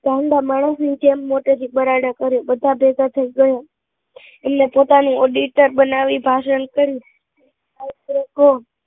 ગાંડા માણસ ની જેમ મોઢે થી બરાડા કરે બધા ભેગા થઇ ગયા એમને પોતાની auditor બનાવી ભાષણ કર્યું